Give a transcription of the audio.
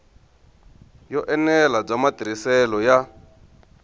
yo enela bya matirhiselo ya